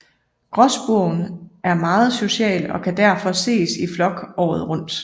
Gråspurven er meget social og kan derfor ses i flok året rundt